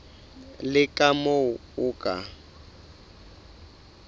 le ka moo o ka